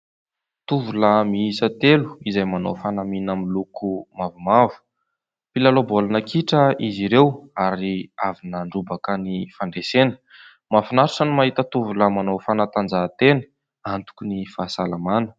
Tovolahy mihisa telo izay manao fanamiana miloko mavomavo mpilalao baolina kitra izy ireo ary avy nandrobaka ny fandresena, mahafinaritra ny mahita tovolahy manao fanatanjahan-tena, antoky ny fahasalamana.